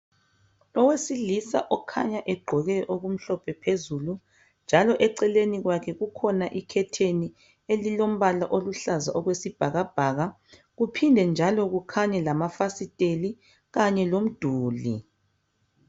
Owesilisa okhanya egqoke okumhlophe phezulu njalo eceleni kwakhe kukhona ikhetheni elilompala oluhlaza okwesibhakabhaka kuphinde njlo kukhaye lamafasitela kanye lomduli